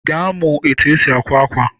Ị ga-amụ etu esi àkwá ákwà?